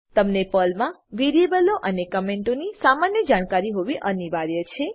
તમને પર્લમાં વેરીએબલો અને કમેંટોની સામાન્ય જાણકારી હોવી અનિવાર્ય છે